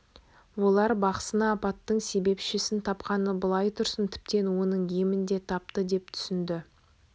олар бақсыны апаттың себепшісін тапқаны былай тұрсын тіптен оның емін де тапты деп түсінді